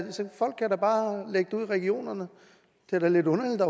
regionerne det er da lidt underligt at